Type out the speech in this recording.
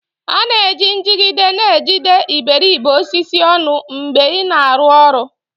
A na-eji njigide na-ejide iberibe osisi ọnụ mgbe ị na-arụ ọrụ